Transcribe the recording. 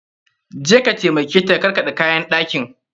Je ka taimake ta karkaɗe kayan ɗakin!